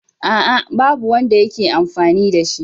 A'a, babu wanda ke amfani da shi.